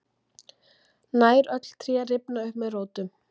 nær öll tré rifna upp með rótum